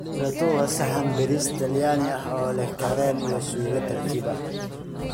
Risotto waa saxan bariis Talyaani ah oo leh kareem iyo suugo tartiib ah.